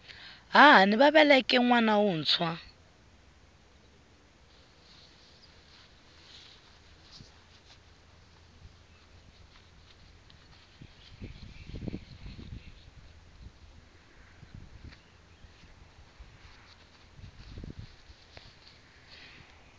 hahani va veleke nwana wuntshwa